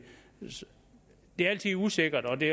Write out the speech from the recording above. er altid usikkert og det